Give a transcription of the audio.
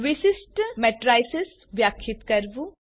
વિશિષ્ટ મેટ્રિસેસ વ્યાખ્યાયિત કરવું